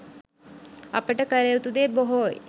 අපට කල යුතු දේ බොහෝයි